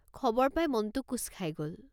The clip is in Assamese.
খবৰ পাই মনটো কোঁচ খাই গল।